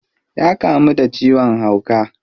Ya kamu da ciwon hauka.